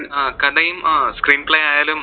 ആ കഥയും അഹ് screenplay ആയാലും